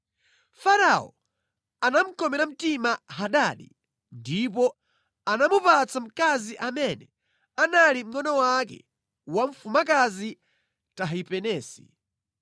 Farao anamukomera mtima Hadadi ndipo anamupatsa mkazi amene anali mngʼono wake wa Mfumukazi Tahipenesi.